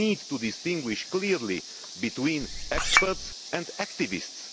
we need to distinguish clearly between experts and activists.